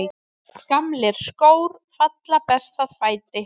Gamlir skór falla best að fæti.